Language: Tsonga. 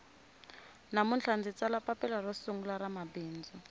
namuntlha ndzi tsala papila ro sungula ra mabindzu